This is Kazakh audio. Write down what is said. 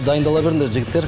дайындала беріндер жігіттер